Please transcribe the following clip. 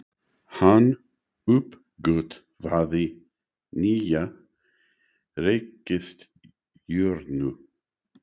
Hann uppgötvaði nýja reikistjörnu!